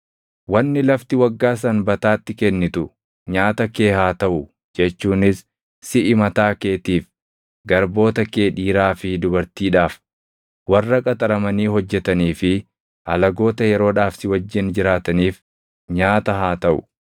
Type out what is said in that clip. Wanni lafti waggaa sanbataatti kennitu nyaata kee haa taʼu jechuunis siʼi mataa keetiif, garboota kee dhiiraa fi dubartiidhaaf, warra qaxaramanii hojjetanii fi alagoota yeroodhaaf si wajjin jiraataniif nyaata haa taʼu;